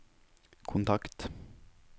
kontakt